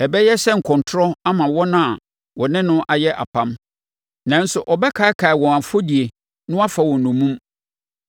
Ɛbɛyɛ sɛ nkɔntorɔ ama wɔn a wɔ ne no ayɛ apam, nanso ɔbɛkaakae wɔn afɔdie na wafa wɔn nnommum.